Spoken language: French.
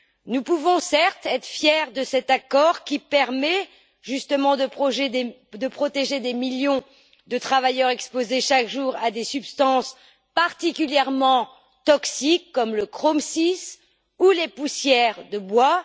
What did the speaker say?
Nous pouvons, certes, être fiers de cet accord qui permet justement de protéger des millions de travailleurs exposés chaque jour à des substances particulièrement toxiques, comme le chrome VI ou les poussières de bois.